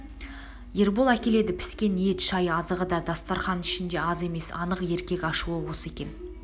ербол әкеледі піскен ет шай азығы да дастарқан ішінде аз емес анық еркек ашуы осы екен